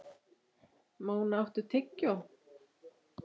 Móna, áttu tyggjó?